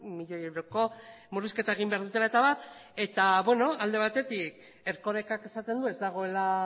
eta abar eta beno alde batetik erkorekak esaten du ez dagoela